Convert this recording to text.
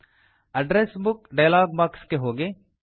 address book dialog box ಗೆ ಹೋಗಿ